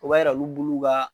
O b'a yira olu buluw b'a